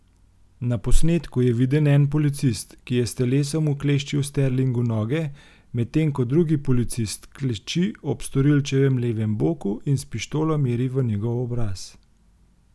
Na posnetku je viden en policist, ki je s telesom ukleščil Sterlingu noge, medtem ko drugi policist kleči ob storilčevem levem boku in s pištolo meri v njegov obraz.